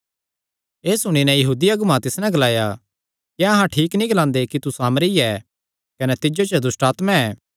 एह़ सुणी नैं यहूदी अगुआं तिस नैं ग्लाया क्या अहां ठीक नीं ग्लांदे कि तू सामरी ऐ कने तिज्जो च दुष्टआत्मा ऐ